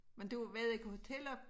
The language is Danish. Men du ved ikke hoteller